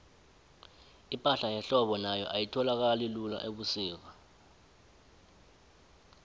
ipahla yehlobo nayo ayitholakali lula ubusika